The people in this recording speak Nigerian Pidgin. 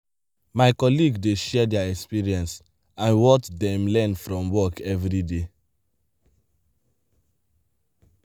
my colleague dey share their experience and what dem learn from work every day.